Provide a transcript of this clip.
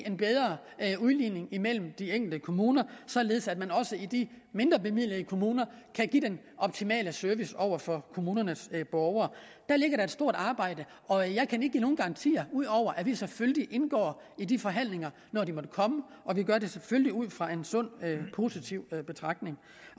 en bedre udligning imellem de enkelte kommuner således at man også i de mindrebemidlede kommuner kan give den optimale service over for kommunernes borgere der ligger da et stort arbejde og jeg kan ikke give nogen garantier ud over at vi selvfølgelig indgår i de forhandlinger når de måtte komme og vi gør det selvfølgelig ud fra en sund positiv betragtning